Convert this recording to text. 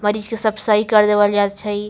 मरीज के सब सही कर देवल जाए छई।